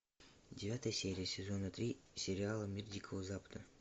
девятая серия сезона три сериала мир дикого запада